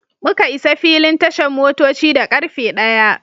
Muka isa filin tashan motoci da karfe ɗaya.